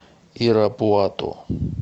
ирапуато